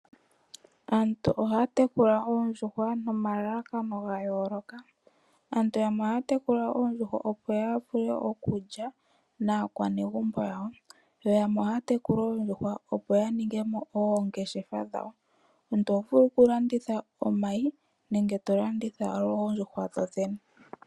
Aantu ohaya tekula oondjuhwa nomalalakano ga yooloka. Aantu yamwe ohaya tekula oondjuhwa opo ya vule okulya naakwanegumbo yawo, yo yamwe ohaya tekula oondjuhwa opo ya ningemo oongeshefa dhawo. Omuntu oho vulu okulanditha omayi nenge oondjuhwa dho dhene.